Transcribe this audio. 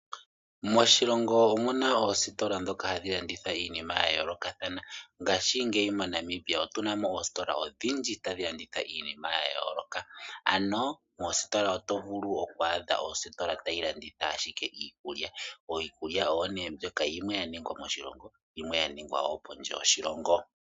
Moshilongo omu na oositola ndhoka ha dhi landitha iinima ya yoolokathana. Ngaashingeyi moNamibia otu na mo oositola odhindji ha dhi landitha iinima ya yooloka, ano moositola too. vulu oku adha ositola ta yi landitha ashike iikulya. Oikulya oyo ne mbyoka, yimwe ya ningwa moshilongo, yimwe ya ningwa wo pondje yoshilongo.